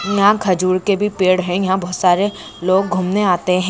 यहाँ खजूर के भी पेड़ है। यहाँ बहोत सारे लोग घूमने आते है।